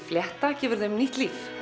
flétta gefur þeim nýtt líf